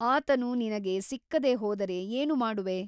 ಆತನು ನಿನಗೆ ಸಿಕ್ಕದೆ ಹೋದರೆ ಏನು ಮಾಡುವೆ?